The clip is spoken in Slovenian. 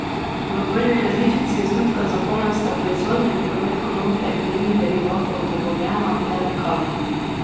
V prvi različici osnutka zakona sta proizvodnja in promet konoplje in njenih derivatov dovoljena le lekarnam.